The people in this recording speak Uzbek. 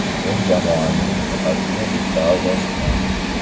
Men jamoaning faqatgina bitta a’zosiman.